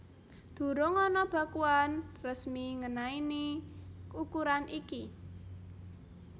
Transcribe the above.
Durung ana bakuan resmi ngenaini ukuran iki